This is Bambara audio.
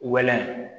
Wɛlɛ